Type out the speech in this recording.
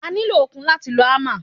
O nílò okun láti lo ámà.